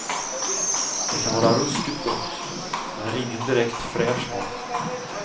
Det kan vara ruskigt gott, men är ingen direkt fräsch mat.